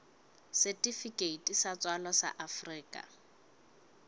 setifikeiti sa tswalo sa afrika